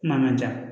Kuma man ca